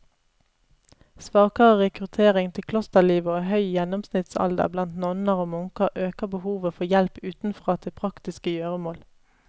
Svakere rekruttering til klosterlivet og høy gjennomsnittsalder blant nonner og munker øker behovet for hjelp utenfra til praktiske gjøremål.